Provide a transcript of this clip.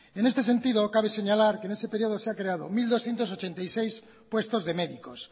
en este sentido cabe señalar que en ese periodo se han creado mil doscientos ochenta y seis puestos de médicos